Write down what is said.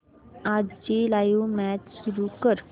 आजची live match सुरू कर